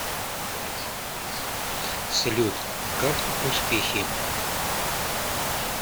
салют как успехи